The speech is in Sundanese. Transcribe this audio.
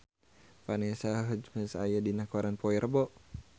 Vanessa Hudgens aya dina koran poe Rebo